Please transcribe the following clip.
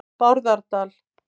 Bárðardal